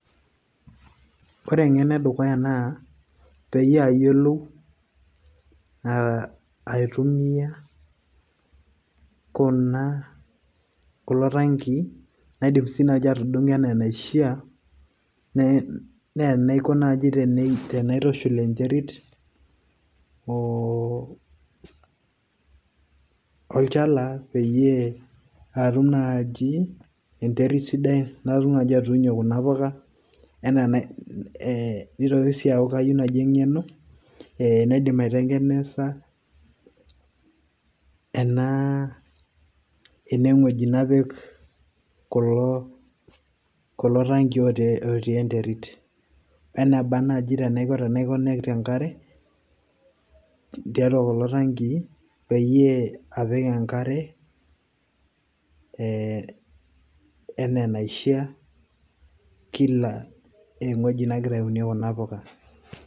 Ore eng'eno edukuya naa, peyie ayiolou aitumia kuna kulo tankii, naidim si nai atudung'o enaa enaishaa, ne enaiko naji tenaitushul enterit, olchala peyie atum naji enterit sidai natum naji atuunie kuna puka, enaa eh nitoki si aku kayieu naji eng'eno, eh naidim aitengenesa ena enewueji. Napik kulo tankii otii enterit. Weneba naji tenaiko tenai connect enkare, tiatua kulo tankii, peyie apik enkare eh enaa enaishaa kila ewueji nagira aunie kuna puka.